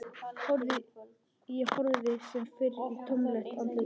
Ég horfði sem fyrr í tómlegt andlit hennar.